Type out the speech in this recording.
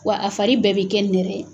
Wa a fari bɛɛ bɛ kɛ nɛrɛ ye.